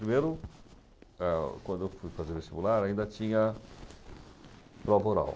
Primeiro, quando eu fui fazer o vestibular, ainda tinha prova oral.